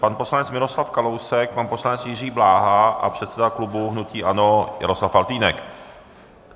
Pan poslanec Miroslav Kalousek, pan poslanec Jiří Bláha a předseda klubu hnutí ANO Jaroslav Faltýnek.